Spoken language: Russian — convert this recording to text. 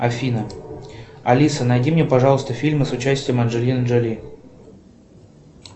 афина алиса найди мне пожалуйста фильмы с участием анджелины джоли